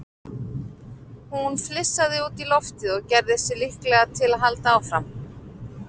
Hún flissaði út í loftið og gerði sig líklega til að halda áfram.